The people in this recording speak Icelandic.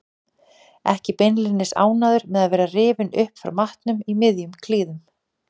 Ekki beinlínis ánægður með að vera rifinn upp frá matnum í miðjum klíðum.